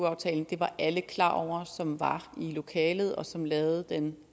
aftalen det var alle klar over som var i lokalet og som lavede den